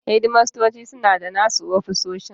Shedimastoci suna da nasu ofisoshin.